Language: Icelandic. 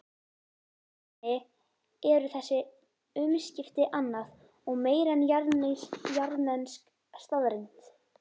Trúnni eru þessi umskipti annað og meira en jarðnesk staðreynd.